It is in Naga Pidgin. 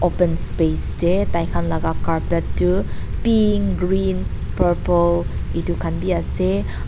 open space ey taikhan laka carpet tu pink green purple itukhan bi ase ar --